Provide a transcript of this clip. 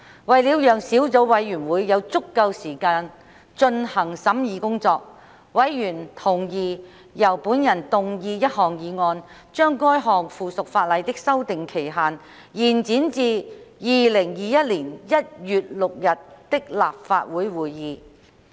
為了讓小組委員會有足夠時間進行審議工作，委員同意由本人動議一項議案，將該項附屬法例的修訂期限延展至2021年1月6日的立法會會議。